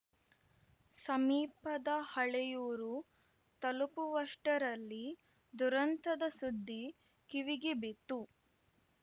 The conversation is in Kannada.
ಸಮೀಪದ ಹಳೇಯೂರು ತಲುಪುವಷ್ಟರಲ್ಲಿ ದುರಂತದ ಸುದ್ದಿ ಕಿವಿಗೆ ಬಿತ್ತು